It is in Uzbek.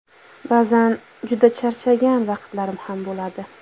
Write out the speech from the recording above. Ba’zan juda charchagan vaqtlarim ham bo‘ladi.